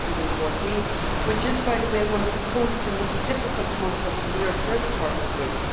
2014. January is, by the way, one of the coldest and most difficult months of the year for the target group.